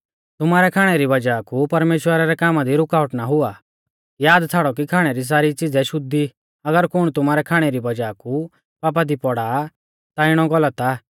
तुमारै खाणै री वज़ाह कु परमेश्‍वरा रै कामा दी रुकावट ना हुआ याद छ़ाड़ौ कि खाणै री सारी च़िज़ै शुद्ध ई अगर कुण तुमारै खाणै री वज़ाह कु पापा दी पौड़ा आ ता इणौ गलत आ